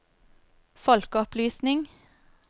folkeopplysning